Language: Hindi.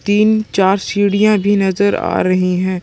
तीन चार सीडियां भी नजर आ रही है ।